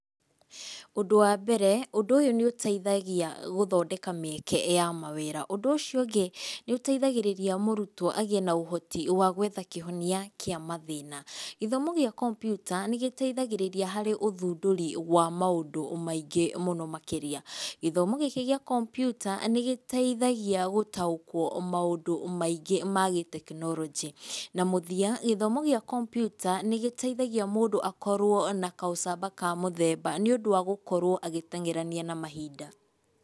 Ũndũ wambere, ũndũ ũyũ nĩ ũteithagia gũthondeka mĩeke ya mawĩra. Ũndũ ũcio ũngĩ, nĩũteithagĩrĩria mũrutwo agĩe na ũhoti wa gwetha kĩhonia kĩa mathĩna. Gĩthomo gĩa kompyuta nĩ gĩteithagĩrĩria harĩ ũthundũri wa maũndũ maingĩ mũno makĩria. Gĩthomo gĩkĩ gĩa kompyuta nĩ gĩteithagia gũtaũkwo maũndũ maingĩ ma gĩtekinoronjia. Na mũthia gĩthomo gĩa kompyuta nĩ gĩteithagia mũndũ akorwo na kaũcamba ka muthemba nĩũndu wa gũkorwo agĩteng'erania na mahinda.